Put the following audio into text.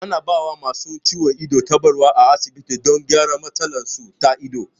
A na ba wa masu ciwon ido tabarau a asibiti don gyara matsalar su ta ido